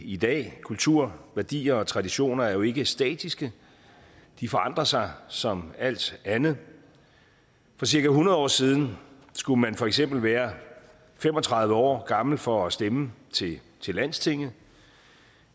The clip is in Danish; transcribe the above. i dag kultur værdier og traditioner er jo ikke statiske de forandrer sig som alt andet for cirka hundrede år siden skulle man for eksempel være fem og tredive år gammel for at stemme til landstinget